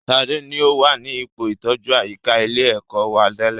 Sadé ni o wà ní ipò ìtọjú àyíká ilé ẹ̀kọ́ wa tẹ́lẹ̀